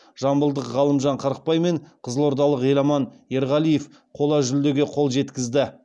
жамбылдық ғалымжан қырықбай мен қызылордалық еламан ерғалиев қола жүлдеге қол жеткізді